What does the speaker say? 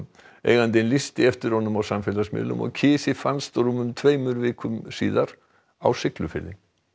eigandinn lýsti eftir honum á samfélagsmiðlum og kisi fannst rúmum tveimur vikum síðar á Siglufirði